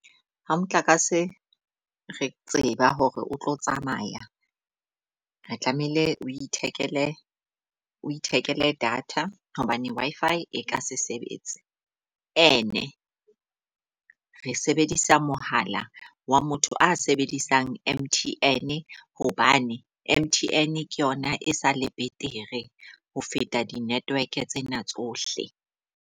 Ha motlakase re tseba hore o tlo tsamaya, re tlamehile o ithekele o ithekele data hobane Wi-Fi e ka se sebetse. Ene re sebedisa mohala wa motho a sebedisang M_T_N. Hobane M_T_N ke yona e sa le betere ho feta di -network tsena tsohle.